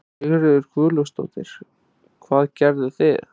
Sigríður Guðlaugsdóttir: Hvað gerðuð þið?